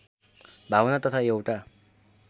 भावना तथा एउटा